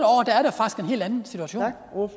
år